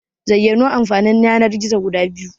Zayyano Amfanin Yanar-gizo guda biyu?